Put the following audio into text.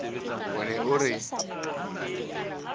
o ne o re na